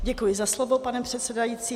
Děkuji za slovo, pane předsedající.